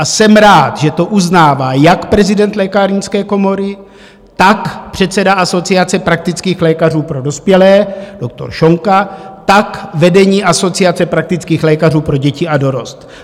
A jsem rád, že to uznává jak prezident Lékárnické komory, tak předseda Asociace praktických lékařů pro dospělé doktor Šonka, tak vedení Asociace praktických lékařů pro děti a dorost.